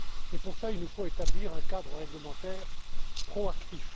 Et pour cela, il nous faut établir un cadre réglementaire proactif.